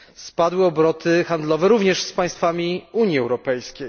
Spadły obroty handlowe również z państwami Unii Europejskiej.